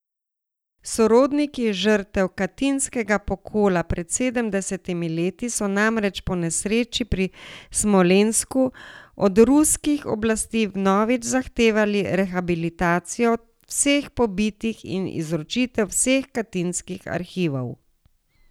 Sorodniki žrtev katinskega pokola pred sedemdesetimi leti so namreč po nesreči pri Smolensku od ruskih oblasti vnovič zahtevali rehabilitacijo vseh pobitih in izročitev vseh katinskih arhivov.